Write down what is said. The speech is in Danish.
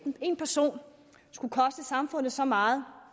en person skulle koste samfundet så meget